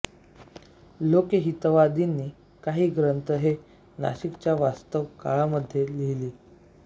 लोकहितवादींनी काही ग्रंथ हे नाशिकच्या वास्तव काळामध्ये लिहिले